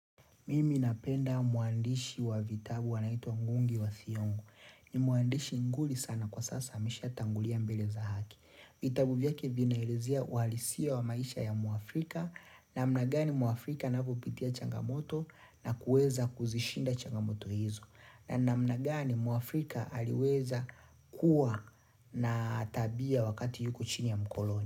Mimi napenda mwandishi wa vitabu anaitwa Ngungi wa Thiong'o. Ni mwandishi nguli sana kwa sasa ameshatangulia mbele za haki. Vitabu vyake vinaelezea uhalisia wa maisha ya mwafrika namna gani mwafrika anavyopitia changamoto na kuweza kuzishinda changamoto hizo. Na namna gani mwafrika aliweza kuwa na tabia wakati yuko chini ya mkoloni.